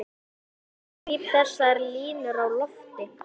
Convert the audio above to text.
Ég gríp þessar línur á lofti.